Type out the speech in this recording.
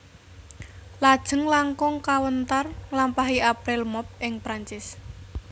Lajeng langkung kawéntar nglampahi April Mop ing Prancis